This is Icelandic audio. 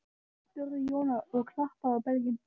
spurði Jón og klappaði á belginn.